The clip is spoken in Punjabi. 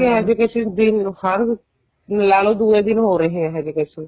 ਉੱਥੇ ਇਹ ਜੇ cases ਦਿਨ ਹਰ ਲਾਲੋ ਦੂਹੇ ਦਿਨ ਹੋ ਰਹੇ ਹੈ ਇਹ ਜੇ cases